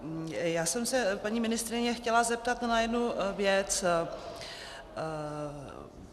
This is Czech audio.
Já jsem se paní ministryně chtěla zeptat na jednu věc.